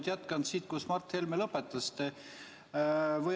Ma jätkan sealt, kus Mart Helme lõpetas.